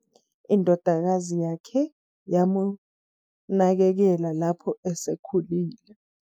indodakazi yakhe yamunakekela lapho esekhulile